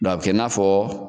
a bɛ kɛ i na fɔ.